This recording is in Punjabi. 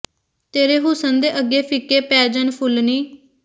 ਤੇਰੇ ਹੁਸਨ ਦੇ ਅੱਗੇ ਫਿੱਕੇ ਪੈ ਜਾਣ ਫੁਲ ਨੀ